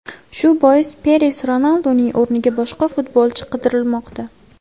Shu bois Peres Ronalduning o‘rniga boshqa futbolchi qidirmoqda.